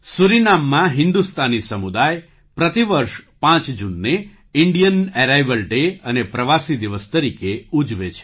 સૂરીનામમાં હિન્દુસ્તાની સમુદાય પ્રતિ વર્ષ પાંચ જૂનને ઇન્ડિયન એરાઇવલ ડે અને પ્રવાસી દિવસ તરીકે ઉજવે છે